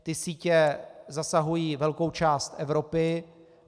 Ty sítě zasahují velkou část Evropy.